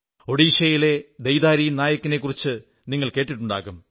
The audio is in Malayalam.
ഒഡിശയിലെ ദൈതാരി നായക് നെക്കുറിച്ച് നിങ്ങൾ കേട്ടിട്ടുണ്ടാകും